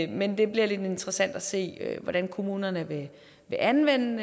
men det bliver lidt interessant at se hvordan kommunerne vil anvende